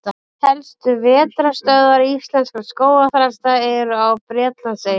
Helstu vetrarstöðvar íslenskra skógarþrasta eru á Bretlandseyjum.